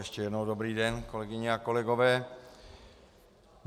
Ještě jednou dobrý den kolegyně a kolegové.